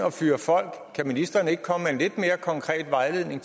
at fyre folk kan ministeren ikke komme med en lidt mere konkret vejledning